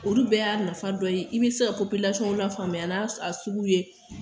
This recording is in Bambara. Olu bɛɛ y'a nafa dɔ ye, i bɛ se ka lafamuya n'a sugu ye